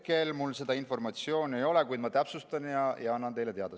Hetkel mul seda informatsiooni ei ole, kuid ma täpsustan ja annan teile teada.